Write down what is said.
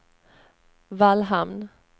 Vallhamn